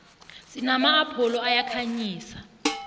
sinama apholo ayakhanyisa